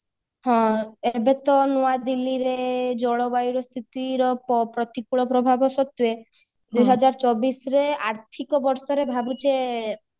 ହଁ ଏବେ ତ ନୂଆ ଦିଲ୍ଲୀରେ ଜଳବାୟୁର ସ୍ଥିତିର ପ୍ରତିକୂଳ ପ୍ରଭାବ ସତ୍ବେ ଦୁଇ ହଜାର ଚବିଶରେ ଆର୍ଥିକ ବର୍ଷରେ ଭାବୁଚେ